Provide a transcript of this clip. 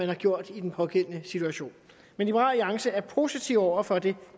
har gjort i den pågældende situation liberal alliance er positiv over for det